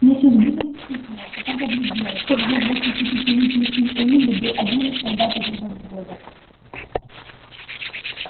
миссис гинен вспыхнула потом побледнела её двадцатипятилетний сын уилли был одним из солдат этого взвода